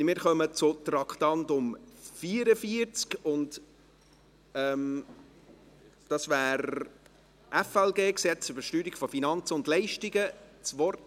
Wir kommen zu Traktandum 44, dem Gesetz über die Steuerung von Finanzen und Leistungen (FLG).